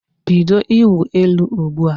Bido ịwụ elu ugbu a!